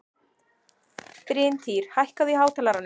Bryntýr, hækkaðu í hátalaranum.